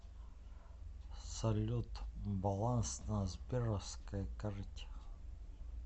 салют баланс на сберовской карте